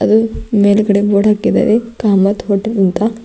ಮೇಲ್ಗಡೆ ಬೋರ್ಡ್ ಹಾಕಿದ್ದಾರೆ ಕಾಮತ್ ಹೋಟೆಲ್ ಅಂತ.